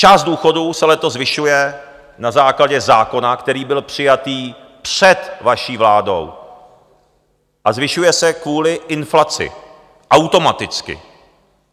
Část důchodů se letos zvyšuje na základě zákona, který byl přijatý před vaší vládou, a zvyšuje se kvůli inflaci automaticky.